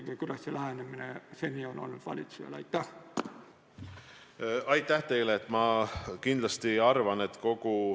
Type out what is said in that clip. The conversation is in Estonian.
Milline lähenemine seni valitsusel on olnud?